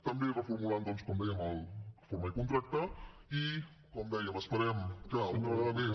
també reformulant doncs com dèiem el forma i contracta i com dèiem esperem que una vegada més